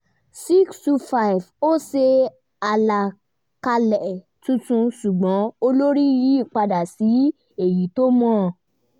625 ó ṣe àlàkalẹ̀ tuntun ṣùgbọ́n olórí yí padà sí èyí tó mọ